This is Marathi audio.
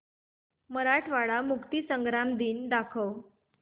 मराठवाडा मुक्तीसंग्राम दिन दाखव